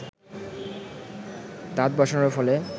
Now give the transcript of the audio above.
দাঁত বসানোর ফলে